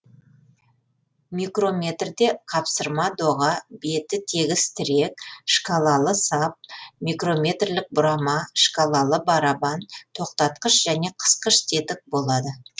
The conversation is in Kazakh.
микрометрде қапсырма доға беті тегіс тірек шкалалы сап микрометрлік бұрама шкалалы барабан тоқтатқыш және қысқыш тетік болады